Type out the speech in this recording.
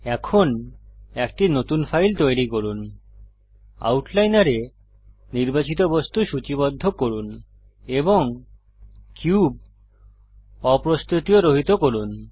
এখন একটি নতুন ফাইল তৈরী করুন আউটলাইনরে নির্বাচিত বস্তু সূচীবদ্ধ করুন এবং কিউব অপ্রস্তুতীয় রহিত করুন